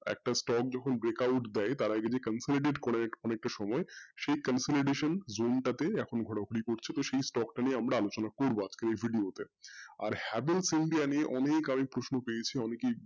একটা stock যখন break out দেয় তার আগে concluted করে যে অনেকটা সময় সেই concludation zone টা তে এখন ঘোরাঘুরি করছে তো সেই stock টা নিয়ে আমরা আলোচনা করবো আজকের এই video তে, আর আমি অনেক আগে অনেকের প্রশ্ন পেয়েছি,